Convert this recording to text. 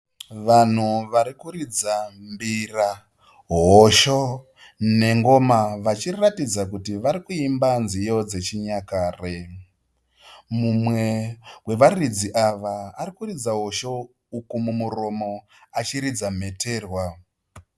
Vanhu vari kuridza mbira, hosho nengoma vachiratidza kuti vari kuimba nziyo dzechinyakare. Mumwe wevaridzi ava ari kuridza hosho uku mumuromo achiridza mheterwa.